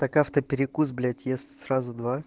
как автоперекус блять я сразу два